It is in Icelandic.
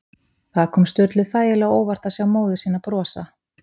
Það kom Sturlu þægilega á óvart að sjá móður sína brosa.